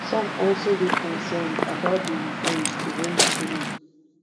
some also dey concerned about di reforms to home schooling